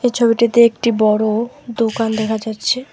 ছবিটিতে একটি বড়ো দোকান দেখা যাচ্ছে।